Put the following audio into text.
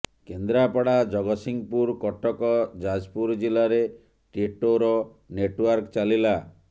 କେନ୍ଦ୍ରାପଡା ଜଗତସିଂହପୁର କଟକ ଯାଜପୁର ଜିଲ୍ଲାରେ ଟିଟୋର ନେଟୱର୍କ ଚାଲିଲା